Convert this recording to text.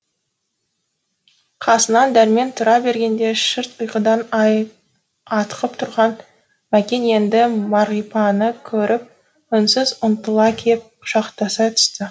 қасынан дәрмен тұра бергенде шырт ұйқыдан атқып тұрған мәкен енді мағрипаны көріп үнсіз ұмтыла кеп құшақтаса түсті